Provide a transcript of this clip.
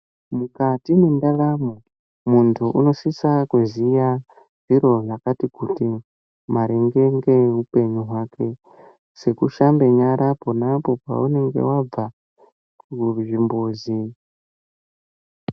Mukati mwendaramo muntu unosisa kuziya zviro zvakati kuti maringe ngehupenyu hwake, sekushambe nyara apo ne apo paunenge wabva kuzvimbuzi.